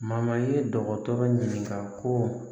ye dɔgɔtɔrɔ ɲininka ko